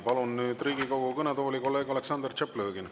Palun nüüd Riigikogu kõnetooli kolleeg Aleksandr Tšaplõgini.